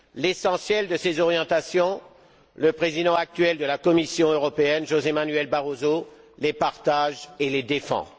L'essentiel de ces orientations, le président actuel de la Commission européenne, José Manuel Barroso, les partage et les défend.